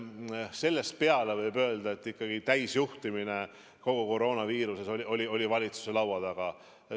Sellest peale võib öelda, et täisjuhtimine kogu koroonakriisis toimus valitsuse laua taga.